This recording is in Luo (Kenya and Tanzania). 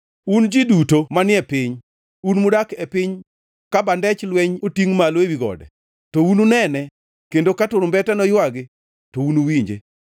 Un ji duto manie piny, un mudak e piny, ka bandech lweny otingʼ malo ewi gode, to ununene kendo ka turumbete noywagi to unuwinje.